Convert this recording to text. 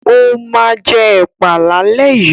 Ó máa jẹ ẹ̀pà lálẹ́ yìí.